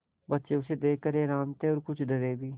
बच्चे उसे देख कर हैरान थे और कुछ डरे भी